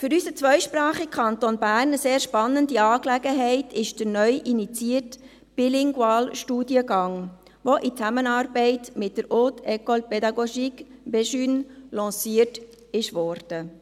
Für unseren zweisprachigen Kanton Bern eine sehr spannende Angelegenheit ist der neu initiierte bilinguale Studiengang, der in Zusammenarbeit mit der Haute Ecole Pédagogique des cantons de Berne, du Jura et de Neuchâtel (HEP-BEJUNE) lanciert wurde.